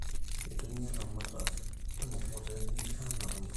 Kitumia ilaramatak irmikokoteni anap embolea